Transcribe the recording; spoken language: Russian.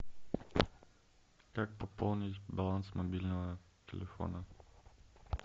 как пополнить баланс мобильного телефона